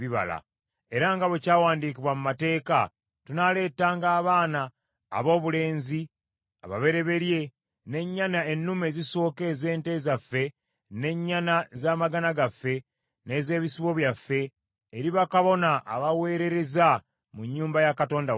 “Era nga bwe kyawandiikibwa mu mateeka, tunaaletanga abaana aboobulenzi ababereberye, n’ennyana ennume ezisooka ez’ente zaffe, n’ennyana z’amagana gaffe, n’ez’ebisibo byaffe, eri bakabona abaweerereza mu nnyumba ya Katonda waffe.